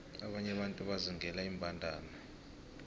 abanye abantu bazingela iimbandana